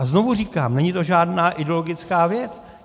A znovu říkám, není to žádná ideologická věc.